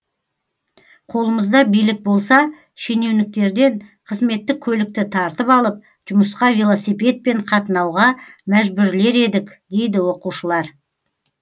қолымызда билік болса шенеуніктерден қызметтік көлікті тартып алып жұмысқа велосипедпен қатынауға мәжбүрлер едік дейді оқушылар